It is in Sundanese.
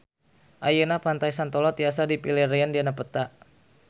Ayeuna Pantai Santolo tiasa dipilarian dina peta